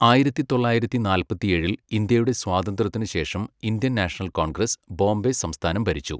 ആയിരത്തി തൊള്ളായിരത്തി നാല്പത്തിഏഴിൽ ഇന്ത്യയുടെ സ്വാതന്ത്ര്യത്തിനു ശേഷം ഇന്ത്യൻ നാഷണൽ കോൺഗ്രസ്, ബോംബെ സംസ്ഥാനം ഭരിച്ചു.